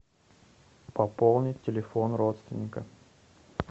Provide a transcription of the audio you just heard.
пополнить телефон родственника